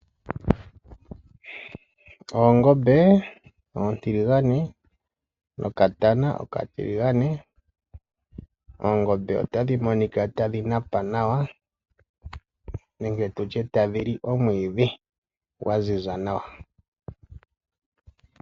Oongombe oontiligane nokatana okatiligane. Oongombe otadhi monika tadhi napa nawa nenge tu tye tadhi li omwiidhi gwa ziza nawa.